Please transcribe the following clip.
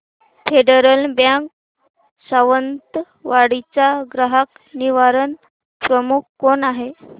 federal bank Sawantwadi चा ग्राहक निवारण प्रमुख कोण आहे